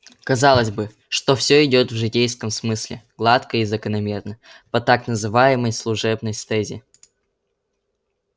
казалось бы что всё идёт в житейском смысле гладко и закономерно по так называемой служебной стезе